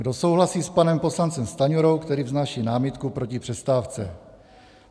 Kdo souhlasí s panem poslancem Stanjurou, který vznáší námitku proti přestávce?